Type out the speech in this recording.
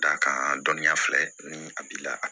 D'a kan dɔnniya filɛ ni a b'i la